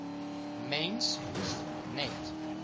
mens hoef net